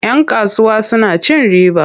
Yan kasuwa suna cin riba.